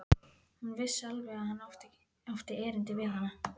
Hún vissi alveg að hann átti erindi við hana.